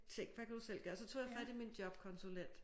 Tænk hvad kan du selv gøre så tog jeg fat i min jobkonsulent